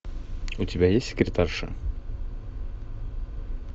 у тебя есть секретарша